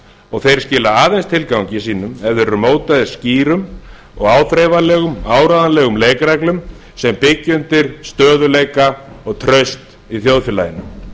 og þeir skila aðeins tilgangi sínum ef þeir eru mótaðir skýrum áþreifanlegum og áreiðanlegum leikreglum sem byggja undir stöðugleika og traust í þjóðfélaginu